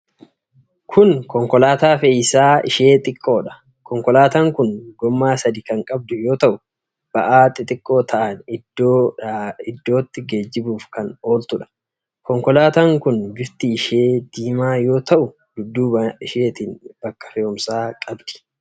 Kun konkolaataa fe'iisaa ishee xiqqoodha. Konkolaataan kun gommaa sadi kan qabdu yoo ta'u, ba'aa xixiqqoo ta'an iddoo iddootti geejjibuuf kan ooltudha. Konkolaataan kun bifti ishee diimaa yoo ta'u, dudduuba isheetiin bakka fe'uumsaa qabdi.